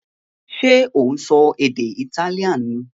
Ṣé ò ń sọ èdè Italian ni?